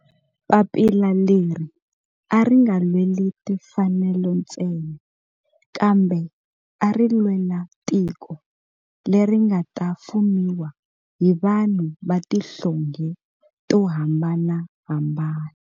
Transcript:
Papila leri a ri nga lweli timfanelo ntsena kambe ari lwela tiko leri nga ta fumiwa hi vanhu va tihlonge to hambanahambana.